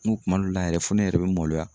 N kuma dɔw la yɛrɛ fo ne yɛrɛ bɛ maloya.